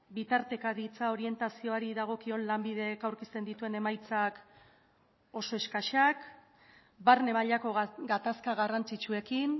bitartekaritza orientazioari dagokion lanbidek aurkezten dituen emaitzak oso eskasak barne mailako gatazka garrantzitsuekin